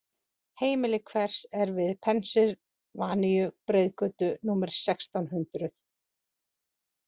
Heimili hvers er við Pennsylvaníu-breiðgötu númer sextán hundrup?